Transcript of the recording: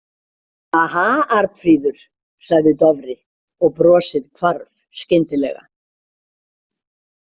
Aha, Arnfríður, sagði Dofri og brosið hvarf skyndilega.